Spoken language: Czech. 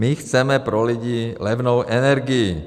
My chceme pro lidi levnou energii.